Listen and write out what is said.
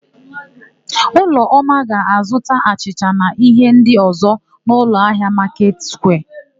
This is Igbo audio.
Ụlọma ga-azụta achịcha na íhé ndị ọ̀zọ́ n'ụlọahịa Maketị Sukwia.